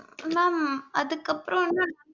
mam அதுக்கப்புறம் வந்து